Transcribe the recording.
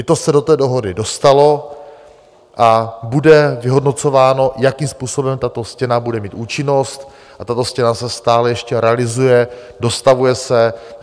I to se do té dohody dostalo a bude vyhodnocováno, jakým způsobem tato stěna bude mít účinnost, a tato stěna se stále ještě realizuje, dostavuje se.